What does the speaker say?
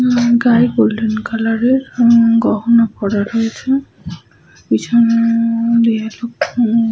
উম গায়ে golden colour এর উম গহনা পরে রয়েছে। পিছনে দিয়ে দু --